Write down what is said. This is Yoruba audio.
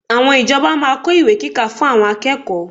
Àwọn ìjọba máa kó ìwé kíkà fún àwọn akẹ́kọ̀ọ́